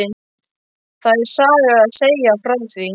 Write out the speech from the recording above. Það er saga að segja frá því.